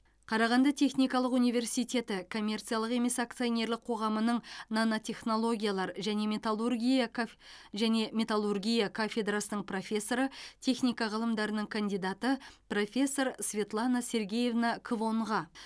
қарағанды техникалық университеті коммерциялық емес акционерлік қоғамының нанотехнологиялар және металлургия кафнанотехнологиялар және металлургия кафедрасының профессоры техника ғылымдарының кандидаты профессор светлана сергеевна квонға